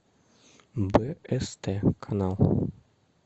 бст канал